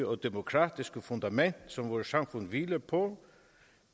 og demokratiske fundament som vores samfund hviler på